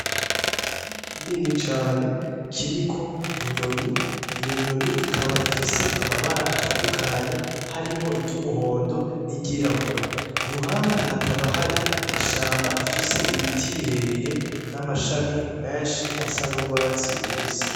Igiti kinini cane kiriko inyoni, iyo nyoni ikaba ifise amabara atandukanye harimwo iry'umuhondo n'iryirabura. I ruhande hakaba hari ishamba rifise ibiti birebire n'amashami menshi asa n'urwatsi rubisi.